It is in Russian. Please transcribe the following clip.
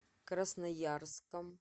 красноярском